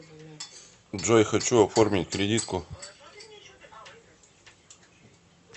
джой хочу оформить кредитку